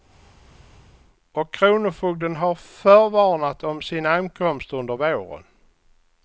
Och kronofogden har förvarnat om sin ankomst under våren.